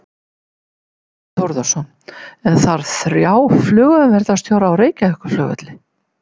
Þorbjörn Þórðarson: En þarf þrjá flugumferðarstjóra á Reykjavíkurflugvelli?